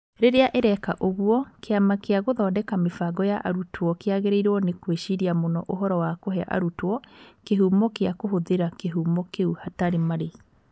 Rĩrĩa ĩreka ũguo, Kĩama gĩa Gũthondeka Mĩbango ya Arutwo kĩagĩrĩirũo nĩ gwĩciria mũno ũhoro wa kũhe arutwo kĩhumo gĩa kũhũthĩra kĩhumo kĩu hatarĩ marĩhi.